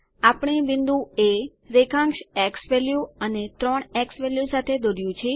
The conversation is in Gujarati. આપણે બિંદુ એ રેખાંશ ઝવેલ્યુ 3 ઝવેલ્યુ સાથે દોરયુ છે